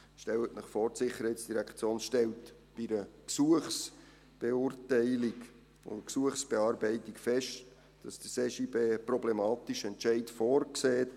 Stellen Sie sich vor, die SID stellt bei einer Gesuchsbeurteilung und Gesuchsbearbeitung fest, dass der CJB einen problematischen Entscheid vorsieht.